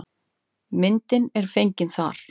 Myndin er fengin þar.